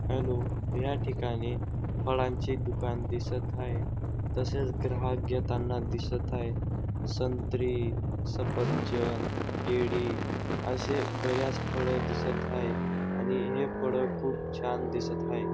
Hello या ठिकाणी फळांचे दुकान दिसत हाये तसेच ग्राहक घेताना दिसत हाये संत्री सफरचंद केळी असे बऱ्याच फळ दिसत हाये आणि हे फळ खूप छान दिसत हाये.